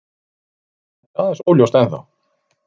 Þetta er aðeins óljóst ennþá.